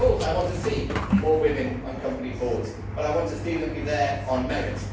Of course I want to see more women on company boards, but I want to see them there on merit.